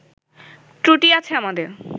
ত্রুটি আছে আমাদের